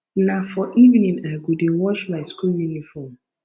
na for evening i go dey wash my school uniform